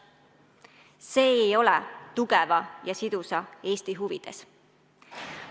See ei ole tugeva ja sidusa Eesti huvides.